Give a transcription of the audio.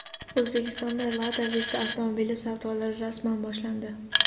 O‘zbekistonda Lada Vesta avtomobili savdolari rasman boshlandi.